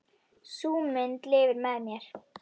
Sú mynd lifir með mér.